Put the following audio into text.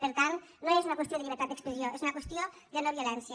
per tant no és una qüestió de llibertat d’expressió és una qüestió de no violència